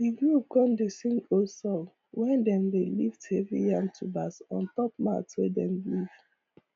the group con dey sing old songs when dem dey lift heavy yam tubers ontop mat wey dem weave